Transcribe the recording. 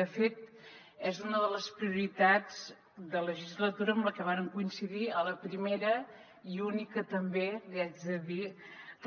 de fet és una de les prioritats de legislatura amb la que vàrem coincidir a la primera i única també li haig de dir